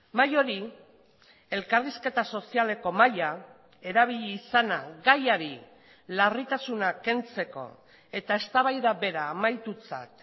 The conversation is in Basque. mahai hori elkarrizketa sozialeko mahaia erabili izana gaiari larritasuna kentzeko eta eztabaida bera amaitutzat